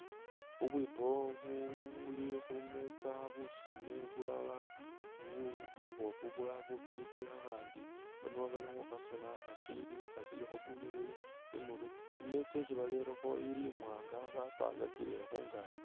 Bubwipo bu buli khu meza busone bulala bu buboofu, bulala bufwiti, khakhandi nwo bali khu khasona khashili khashilikho bunyilili imurwe. I'meeza isi barelekho ili imwaanga bapangakile khungaaki.